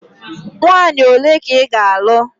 Nwaanyị ole ka ị ga-alụ?